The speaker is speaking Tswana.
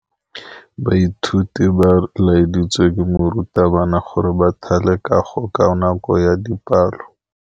Baithuti ba laeditswe ke morutabana gore ba thale kagô ka nako ya dipalô.